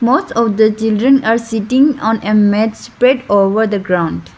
most of the children are sitting on a mat spread over the ground.